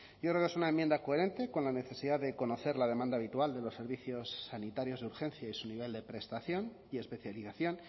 yo creo que es una enmienda coherente con la necesidad de conocer la demanda habitual de los servicios sanitarios de urgencia y su nivel de prestación y especialización